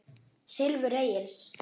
Silfur Egils